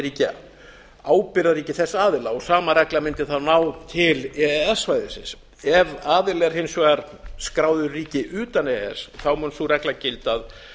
ríki ábyrgðarríki þess aðila og sama regla mundi þá ná til e e s svæðisins ef aðili er hins vegar skráðu í ríki utan e e s mun sú regla gilda að